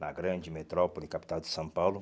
na grande metrópole capital de São Paulo.